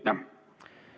Aitäh!